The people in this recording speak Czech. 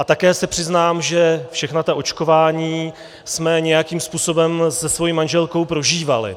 A také se přiznám, že všechna ta očkování jsme nějakým způsobem se svou manželkou prožívali.